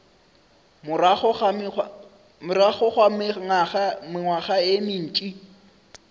morago ga mengwaga ye mentši